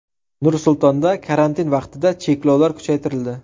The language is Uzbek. Nur-Sultonda karantin vaqtida cheklovlar kuchaytirildi.